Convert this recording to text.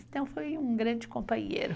Então, foi um grande companheiro.